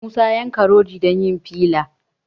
Musa ya yanka rodi don yin filla